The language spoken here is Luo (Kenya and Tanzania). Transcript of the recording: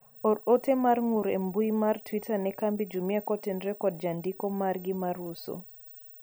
or ote mar ng'ur e mbui mar twita ne kambi Jumia kotenore kod jandiko margi mar uso